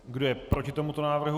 Kdo je proti tomuto návrhu?